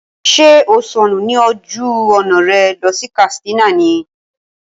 Ṣé o sọnù ní ojú ọ̀nà rẹ lọ sí Katsina ní?